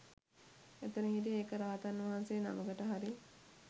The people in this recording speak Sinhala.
එතැන හිටිය එක රහතන් වහන්සේ නමකට හරි